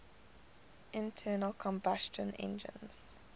internal combustion engines